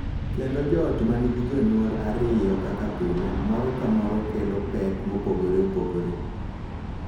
Kendo joot ma nigi jonyuol ariyo kaka pile, moro ka moro kelo pek mopogore opogore,